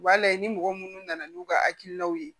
U b'a layɛ ni mɔgɔ munnu nana n'u ka hakilinaw ye